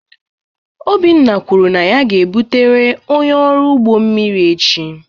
Obinna kwuru na ya ga-ebutere onye ọrụ ugbo mmiri mmiri echi.